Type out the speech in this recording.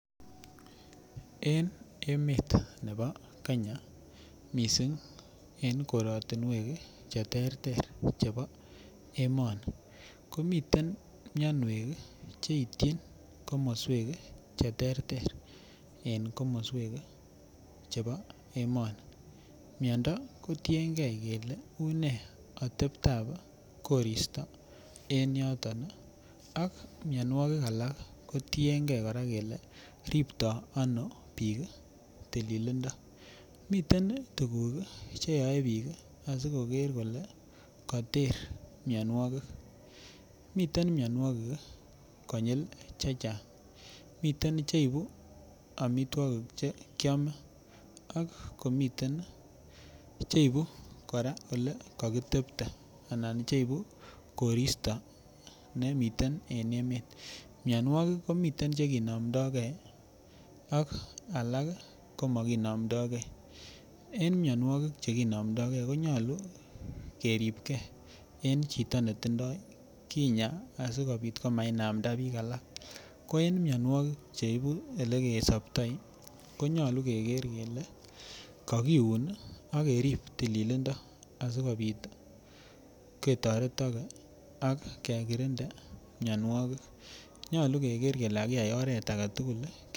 En emet nebo Kenya mising en koratinwek Che terter chebo emoni komiten mianwek Che ityin komoswek Che terter en komoswek chebo emoni miando kotienge kele unee ateptab koristo en yotok ak mianwogik alak kotienge kora kole ripto ano bik tililindo miten tuguk Che yoe bik asi koker kole Kater mianwogik miten mianwogik konyil chechang miten Che ibu amitwogik Che kiome ak komiten Che ibu kora kakitepte anan cheibu koristo nemiten en emet mianwogik komiten Che kinomdo ge ak alak komakinomdo ge en mianwogik Che kinomdo ge konyolu kerib ge en chito netindoi kinyaa asikobit komainamda bik alak ko en mianwogik Che ibu Ole kesoptoi ko nyolu keger kele kakiun ak kerib tililindo asikobit ketoretoge ak kekirinde mianwogik nyolu keger kakiyai oret age tugul